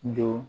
Don